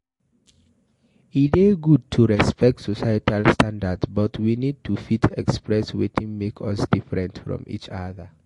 e dey good to respect societal standards but we need to fit express wetin make us different from each other